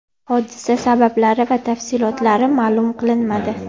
Hodisa sabablari va tafsilotlari ma’lum qilinmadi.